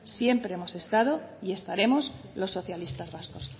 siempre hemos estado y estaremos los socialistas vascos